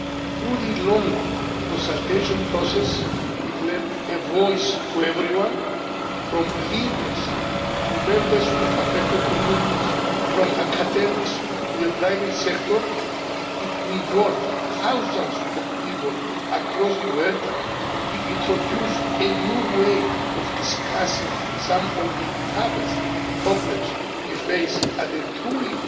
Through the long consultation process it lent a voice to everyone from leaders to members of affected communities, from academics to the private sector. It involved thousands of people across the world. It introduced a new way of discussing some of the toughest problems we face at a truly